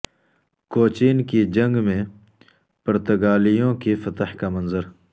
کوچین کی جنگ میں پرتگالیوں کی فتح کا منظر